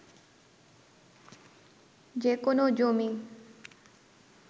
যে কোনো জমি